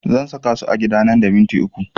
Zan saka su a gida nan da minti uku